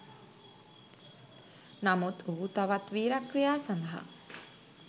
නමුත් ඔහු තවත් වීරක්‍රියා සඳහා